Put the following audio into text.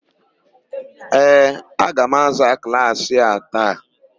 Ee, a ga-aza klaasị a taa.